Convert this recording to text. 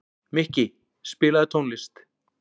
Mikki, spilaðu tónlist.